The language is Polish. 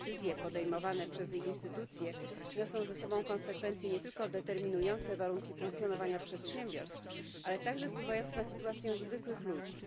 Decyzje podejmowane przez jej instytucje niosą ze sobą konsekwencje nie tylko determinujące warunki funkcjonowania przedsiębiorstw, ale także wpływające na sytuację zwykłych ludzi.